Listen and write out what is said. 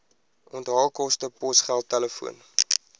onthaalkoste posgeld telefoon